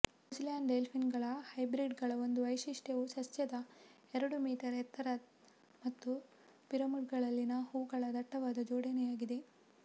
New Zealand ಡೆಲ್ಫಿನಿಯಮ್ಗಳ ಹೈಬ್ರಿಡ್ಗಳ ಒಂದು ವೈಶಿಷ್ಟ್ಯವು ಸಸ್ಯದ ಎರಡು ಮೀಟರ್ ಎತ್ತರ ಮತ್ತು ಪಿಡುಂಗಲ್ನಲ್ಲಿನ ಹೂವುಗಳ ದಟ್ಟವಾದ ಜೋಡಣೆಯಾಗಿದೆ